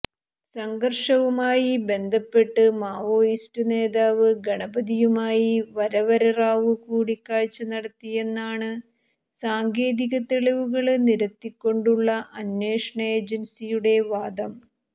സംഘര്ഷവുമായി ബന്ധപ്പെട്ട് മാവോയിസ്റ്റ് നേതാവ് ഗണപതിയുമായി വരവര റാവു കൂടിക്കാഴ്ച്ച നടത്തിയെന്നാണ് സാങ്കേതിക തെളിവുകള് നിരത്തികൊണ്ടുള്ള അന്വേഷണ ഏജന്സിയുടെ വാദം